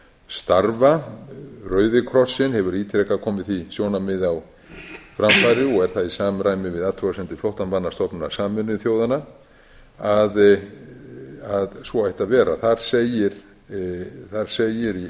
starfa rauði krossinn hefur ítrekað komið því sjónarmiði á framfæri og er það í samræmi við athugasemdir flóttamannastofnunar sameinuðu þjóðanna að svo ætti að vera þar segir í álitsgerð með